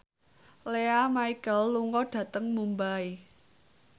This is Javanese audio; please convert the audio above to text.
Lea Michele lunga dhateng Mumbai